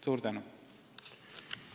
Suur tänu!